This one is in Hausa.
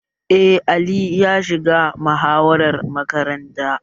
Eh, Ali ya shiga muhawara makaranta